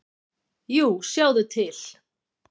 """Jú, sjáðu til."""